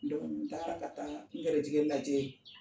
n taara ka taa n garisɛgɛ lajɛ